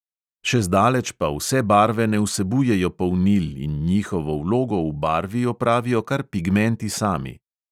Še zdaleč pa vse barve ne vsebujejo polnil in njihovo vlogo v barvi opravijo kar pigmenti sami.